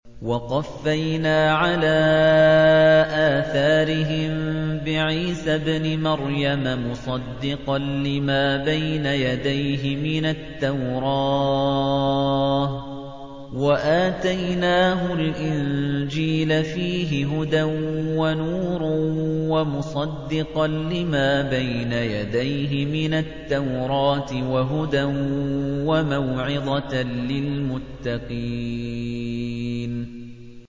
وَقَفَّيْنَا عَلَىٰ آثَارِهِم بِعِيسَى ابْنِ مَرْيَمَ مُصَدِّقًا لِّمَا بَيْنَ يَدَيْهِ مِنَ التَّوْرَاةِ ۖ وَآتَيْنَاهُ الْإِنجِيلَ فِيهِ هُدًى وَنُورٌ وَمُصَدِّقًا لِّمَا بَيْنَ يَدَيْهِ مِنَ التَّوْرَاةِ وَهُدًى وَمَوْعِظَةً لِّلْمُتَّقِينَ